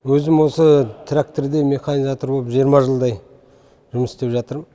өзім осы тракторде механизатор болып жиырма жылдай жұмыс істеп жатырмын